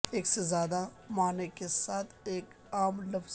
ایک سے زیادہ معنی کے ساتھ ایک عام لفظ